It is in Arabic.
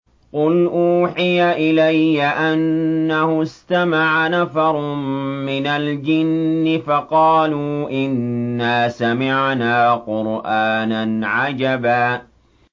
قُلْ أُوحِيَ إِلَيَّ أَنَّهُ اسْتَمَعَ نَفَرٌ مِّنَ الْجِنِّ فَقَالُوا إِنَّا سَمِعْنَا قُرْآنًا عَجَبًا